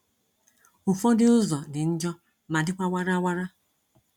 Ụfọdụ ụzọ dị njọ ma dịkwa warawara.